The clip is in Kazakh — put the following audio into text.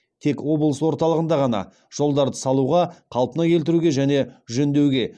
тек облыс орталығында ғана жолдарды салуға қалпына келтіруге және жөндеуге